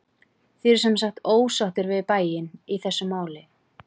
Þið eruð semsagt ósáttir við bæinn í þessu máli?